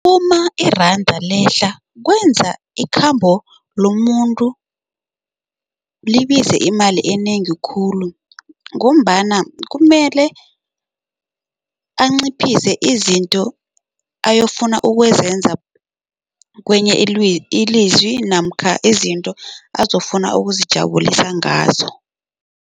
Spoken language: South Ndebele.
Uma iranda lehla kwenza ikhambo lomuntu libize imali enengi khulu ngombana kumele anciphise izinto ayofuna ukwenza kwenye ilizwi namkha izinto azofuna ukuzijabulisa ngazo.